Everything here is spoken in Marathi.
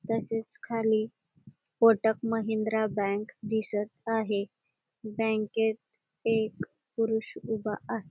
तसेच खाली कोटक महिंद्रा बँक दिसत आहे बँकेत एक पुरुष उभा आहे.